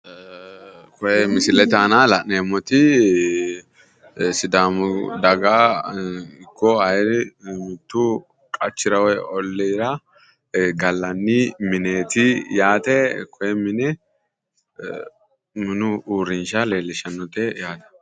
Koye misilete aana la'neemmoti sidaamu daga ikko ayi mittu qachira woyi olliira gallanni mineeti yaate koye mine minu uurrinsha leellishannote yaate.